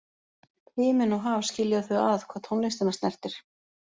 Himinn og haf skilja þau að hvað tónlistina snertir.